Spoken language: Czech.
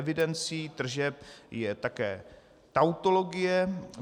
Evidencí tržeb je také tautologie.